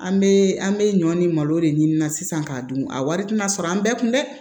An bɛ an bɛ ɲɔ ni malo de ɲini na sisan k'a dun a wari tina sɔrɔ an bɛɛ kun dɛ